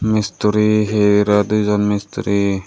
মিস্তরি হি এরা দুজন মিস্ত্রি।